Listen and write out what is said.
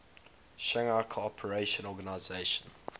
shanghai cooperation organization